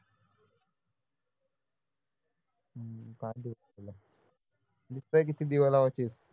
दिसतंय किती दिवे लावायचीस